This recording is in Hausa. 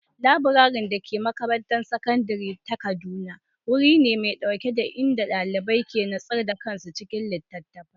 Laburaren da ke makarantar sakandare ta Kaduna wuri ne mai natsuwa inda ɗalibai ke nutsar da kansu cikin littattafai.